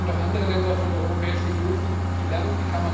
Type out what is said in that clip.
Da können doch andere Länder von der Europäischen Union viel lernen.